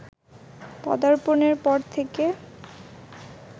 পদার্পণের পর থেকে